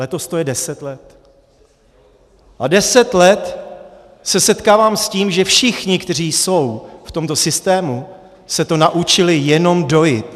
Letos to je deset let a deset let se setkávám s tím, že všichni, kteří jsou v tomto systému, se to naučili jenom dojit.